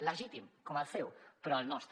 legítim com el seu però el nostre